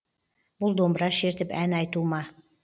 бұл домбыра шертіп ән айту ма